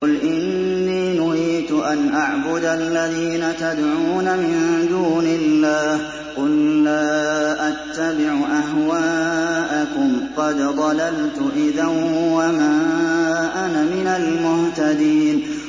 قُلْ إِنِّي نُهِيتُ أَنْ أَعْبُدَ الَّذِينَ تَدْعُونَ مِن دُونِ اللَّهِ ۚ قُل لَّا أَتَّبِعُ أَهْوَاءَكُمْ ۙ قَدْ ضَلَلْتُ إِذًا وَمَا أَنَا مِنَ الْمُهْتَدِينَ